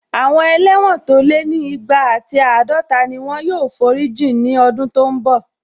Àwọn ẹlẹ́wọ̀n tó lé ní igba ati àádọta ni wọ́n yóò forí jìn ní ọdún tó n bọ̀